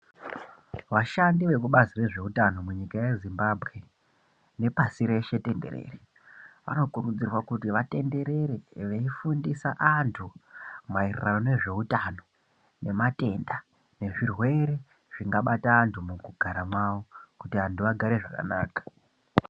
Vashandi vekubazi rezvehutano munyika yezimbabwe nepasi rese tenderere vanokurudzirwa vatenderere veifundisa antu maererano nezvehutano kwematenda ezvirwere zvingabata antu mundaramo mavo kuti antu agare zvakanaka.